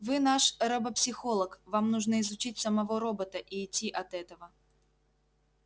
вы наш робопсихолог вам нужно изучить самого робота и идти от этого